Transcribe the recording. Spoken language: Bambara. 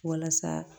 Walasa